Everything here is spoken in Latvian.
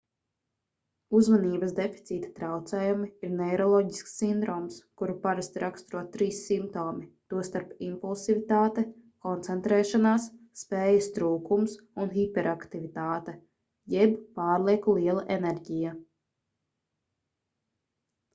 uzmanības deficīta traucējumi ir neiroloģisks sindroms kuru parasti raksturo trīs simptomi tostarp impulsivitāte koncentrēšanās spējas trūkums un hiperaktivitāte jeb pārlieku liela enerģija